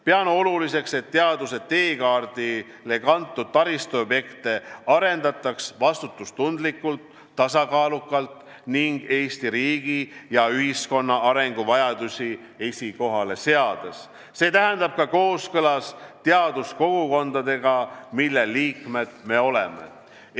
Pean oluliseks, et teaduse teekaardile kantud taristuobjekte arendataks vastutustundlikult, tasakaalukalt ning Eesti riigi ja ühiskonna arenguvajadusi esikohale seades, st ka kooskõlas teaduskogukondadega, mille liikmed oleme.